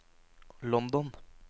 London